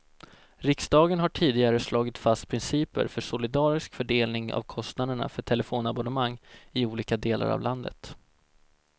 Riksdagen har tidigare slagit fast principer för solidarisk fördelning av kostnaderna för telefonabonnemang i olika delar av landet.